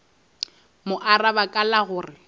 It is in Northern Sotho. mo araba ka la gore